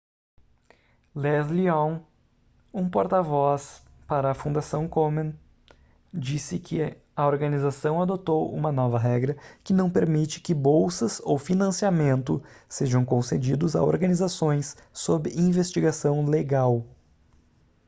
leslie aun um porta-voz para a fundação komen disse que a organização adotou uma nova regra que não permite que bolsas ou financiamento sejam concedidos a organizações sob investigação legal